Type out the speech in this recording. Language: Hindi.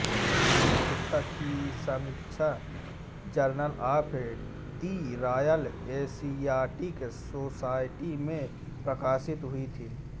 इस पुस्तक की समीक्षा journal of the Royal Asiatic Society में प्रकाशित हुई थी